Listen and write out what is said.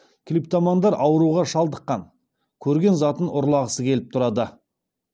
клиптомандар ауруға шалдыққан көрген затын ұрлағысы келіп тұрады